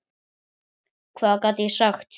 Hvað get ég sagt.